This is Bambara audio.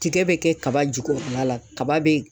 Tigɛ bɛ kɛ kaba jukɔrɔla la kaba be